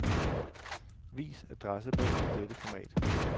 Vis adressebog i dette format.